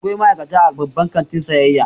Akwai ma'aikata a babban kantin sayayya.